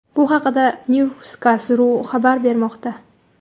Bu haqda Newskaz.ru xabar bermoqda .